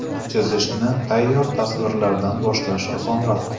Chizishni tayyor tasvirlardan boshlash osonroq.